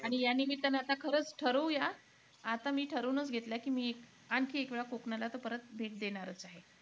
आणि या निमित्ताने आता खरंच ठरवूया. आता मी ठरवूनच घेतलयं की, मी आणखी एक वेळा कोकणाला तर परत भेट देणारचं आहे